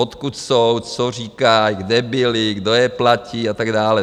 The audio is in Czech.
Odkud jsou, co říkají, kde byli, kdo je platí a tak dále.